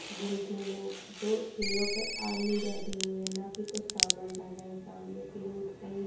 जिन ठेलों जो ठेलों पे आदमी बैठे हुए हैं ना कि कुछ सामान भर रहे हैं। सामने के रोड पे एक --